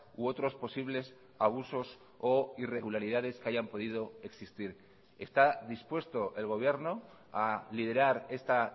u otros posibles abusos o irregularidades que hayan podido existir está dispuesto el gobierno a liderar esta